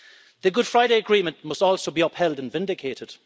The Good Friday Agreement must also be upheld and vindicated.